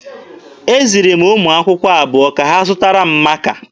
Eziri m ụmụ akwụkwọ abụọ ka ha zụtara m maaka.